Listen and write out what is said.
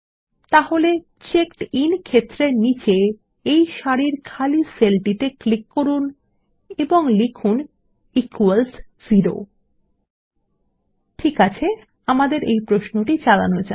তাহলে চেকডিন ক্ষেত্রের নীচে এই সারির খালি সেলটিতে ক্লিক করুন এবং লিখুন ইকুয়ালস জেরো ঠিক আছে আমাদের এই প্রশ্নটি চালানো যাক